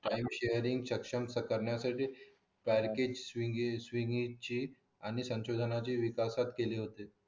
time sharing सशक्त करण्यासाठी बारकेज स्वगी स्वगी ची आणि संशोधनाची विकास केली होती